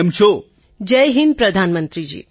Tarannum Khan Jai Hind પ્રધાનમંત્રીજી